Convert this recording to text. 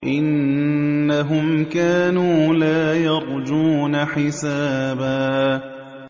إِنَّهُمْ كَانُوا لَا يَرْجُونَ حِسَابًا